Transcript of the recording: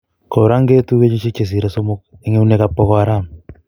korangetu kenyisiek chesire somok en euneg ap pokoaaram